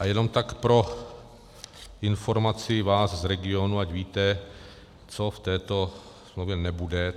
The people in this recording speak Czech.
A jenom tak pro informaci vás z regionů, ať víte, co v této smlouvě nebude.